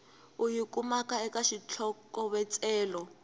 u yi kumaka eka xitlhokovetselo